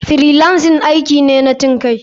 Freelancing aiki ne na cinkai.